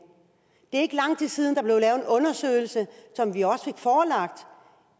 det er ikke lang tid siden der blev lavet en undersøgelse som vi også fik forelagt